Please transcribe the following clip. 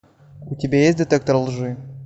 у тебя есть детектор лжи